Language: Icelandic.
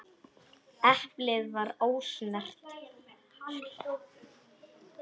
Eplið var ósnert.